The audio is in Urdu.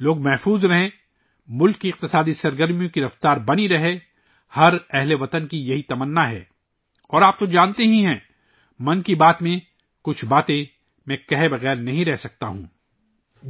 عوام محفوظ رہے، ملک کی معاشی سرگرمیوں کی رفتار برقرار رہے، یہ ہر شہری کی خواہش ہے اور آپ تو جانتے ہی ہیں ' من کی بات' میں، کچھ چیزیں، میں کہے بغیر نہیں رہ سکتا،